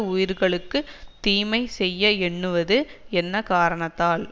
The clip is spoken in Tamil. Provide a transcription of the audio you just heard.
உயிர்களுக்கு தீமை செய்ய எண்ணுவது என்ன காரணத்தால்